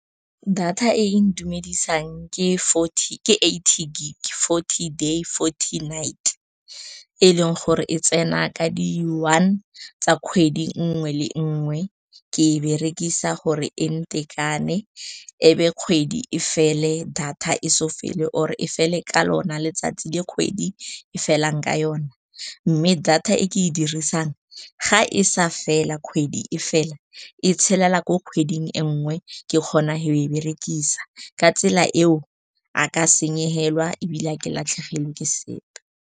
Data e e ntumedisang ke eighty gig-e, forty day, forty night, e leng gore e tsena ka di one tsa kgwedi nngwe le nngwe. Ke e berekisa gore e ntekane ebe kgwedi e fele, data e solofele, or e fele ka lona letsatsi le kgwedi e felang ka yone. Mme data e ke e dirisang ga e sa fela, kgwedi e fela e tshelela ko kgweding e nngwe. Ke kgona go e berekisa ka tsela eo, a ka se senyegelwe ebile a ke latlhegelwe ke sepe.